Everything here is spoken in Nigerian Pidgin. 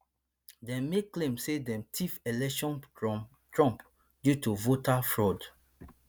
dem make claim say dem tiff election from trump due to voter fraud